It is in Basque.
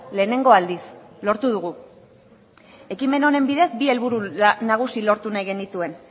lehenengo aldiz lortu dugu ekimen honen bidez bi helburu nagusi lortu nahi genituen